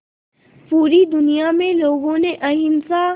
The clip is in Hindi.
पूरी दुनिया में लोगों ने अहिंसा